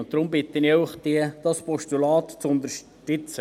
Deshalb bitte ich Sie, dieses Postulat zu unterstützen.